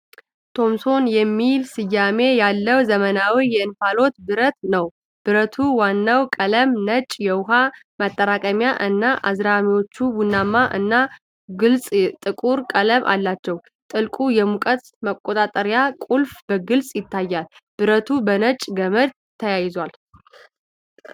ቶምሶን የሚል ስያሜ ያለው ዘመናዊ የእንፋሎት ብረት ነው። ብረቱ ዋናው ቀለም ነጭ፣ የውኃ ማጠራቀሚያው እና አዝራሮቹ ቡናማ እና ግልጽ ጥቁር ቀለም አላቸው። ትልቁ የሙቀት መቆጣጠሪያ ቁልፍ በግልጽ ይታያል፣ ብረቱ በነጭ ገመድ ተያይዟል።